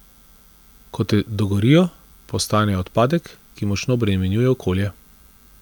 Ko te dogorijo, postanejo odpadek, ki močno obremenjuje okolje.